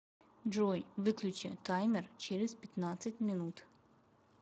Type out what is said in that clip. джой выключи таймер через пятнадцать минут